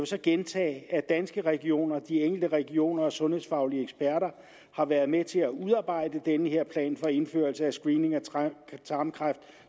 så gentage at danske regioner de enkelte regioner og sundhedsfaglige eksperter har været med til at udarbejde den her plan for indførelse af screening for tarmkræft